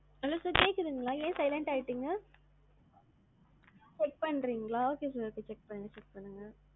hello sir கேக்குதுங்களா? ஏன் silent ஆ ஆகிட்டீங்க. check பண்றிங்களா? okay sir, okay check பண்ணுங்க.